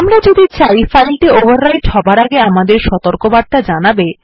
আমরা যদি চাই ফাইলটি ওভাররাইট হবার আগে আমাদের সতর্কবার্তা জানাবে